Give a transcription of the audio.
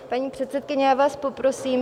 Paní předsedkyně, já vás poprosím...